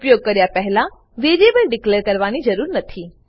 ઉપયોગ કર્યા પહેલા વેરીએબલ ડીકલેર કરવાની જરૂર નથી